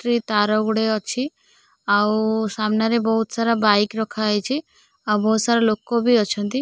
ସେ ତାର ଗୁଡେ ଅଛି ଆଉ ସାମ୍ନାରେ ବହୁତ ସାରା ବାଇକ୍ ରଖାହେଇଚି ଆଉ ବହୁତ ସାରା ଲୋକ ବି ଅଛନ୍ତି।